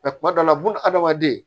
kuma dɔw la buna hadamaden